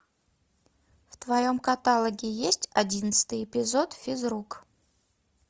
в твоем каталоге есть одиннадцатый эпизод физрук